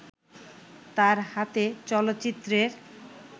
তার হাতে চলচ্চিত্রের